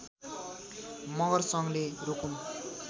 मगर सङ्घले रुकुम